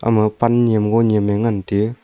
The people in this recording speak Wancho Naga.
ma pan nyem go nyem ye ngan tiyu.